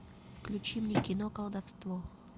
включи мне кино колдовство